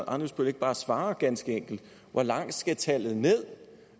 ammitzbøll ikke bare svare ganske enkelt hvor langt skal tallet ned